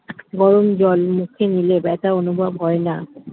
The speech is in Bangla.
গরম জল মুখে নিলে ব্যথা অনুভব হয় না